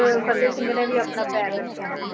ਅਹ ਫ਼ਤਿਹ ਸਿੰਘ ਨੇ ਵੀ ਆਪਣਾ ਪੈਰ ਰੱਖਿਆ,